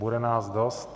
Bude nás dost.